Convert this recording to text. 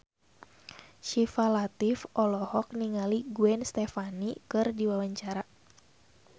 Syifa Latief olohok ningali Gwen Stefani keur diwawancara